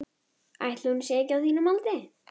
Einhvers staðar niðri í bæ fauk lífsstarf hans.